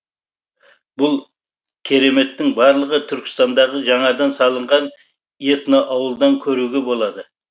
бұл кереметтің барлығын түркістандағы жаңадан салынған этноауылдан көруге болады